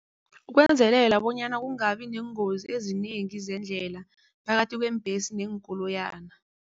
Ukwenzelela bonyana kungabi neengozi ezinengi zeendlela phakathi kweembhesi neenkoloyana.